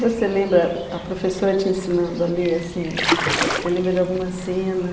Você lembra, a professora te ensinando a ler, assim, você lembra de alguma cena?